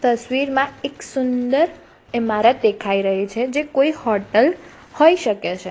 તસવીરમાં એક સુંદર ઈમારત દેખાય રહી છે જે કોઈ હોટલ હોઈ શકે છે.